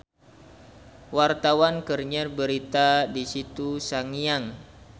Wartawan keur nyiar berita di Situ Sangiang